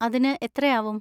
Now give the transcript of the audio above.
അതിന് എത്രയാവും?